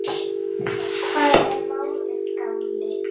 Hvað er málið, gamli?